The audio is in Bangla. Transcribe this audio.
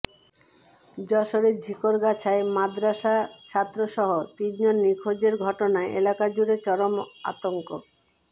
যশোরের ঝিকরগাছায় মাদরাসাছাত্রসহ তিনজন নিখোঁজের ঘটনায় এলাকাজুড়ে চরম আতঙ্